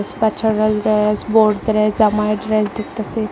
বাচ্চারেইল dress বউদ্রের dress জামায়ের dress দেখতাছি।